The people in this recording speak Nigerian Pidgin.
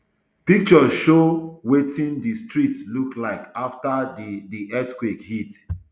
pictures show wetin di streets look like afta di di earthquake hit